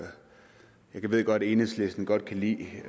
jeg det ved godt at enhedslisten godt kan lide